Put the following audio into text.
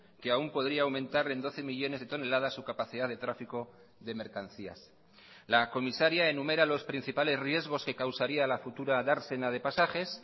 que aún podría aumentar en doce millónes de toneladas su capacidad de tráfico de mercancías la comisaria enumera los principales riesgos que causaría la futura dársena de pasajes